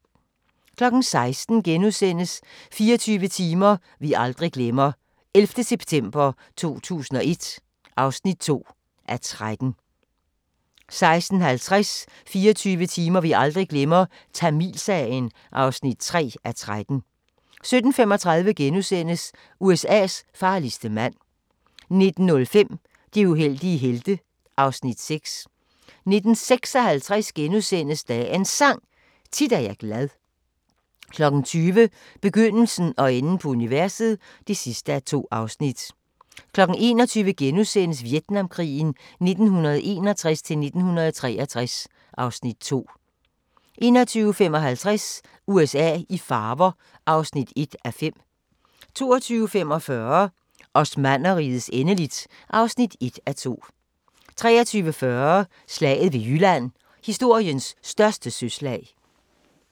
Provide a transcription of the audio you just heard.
16:00: 24 timer vi aldrig glemmer – 11. september 2001 (2:13)* 16:50: 24 timer vi aldrig glemmer – Tamilsagen (3:13) 17:35: USA's farligste mand * 19:05: De uheldige helte (Afs. 6) 19:56: Dagens Sang: Tit er jeg glad * 20:00: Begyndelsen og enden på universet (2:2) 21:00: Vietnamkrigen 1961-1963 (Afs. 2)* 21:55: USA i farver (1:5) 22:45: Osmannerrigets endeligt (1:2) 23:40: Slaget ved Jylland – historiens største søslag